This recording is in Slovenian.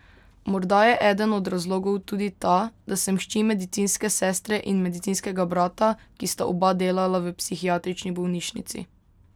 Morda je eden od razlogov tudi ta, da sem hči medicinske sestre in medicinskega brata, ki sta oba delala v psihiatrični bolnišnici.